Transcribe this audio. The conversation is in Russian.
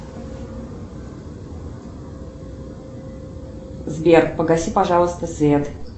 сбер погаси пожалуйста свет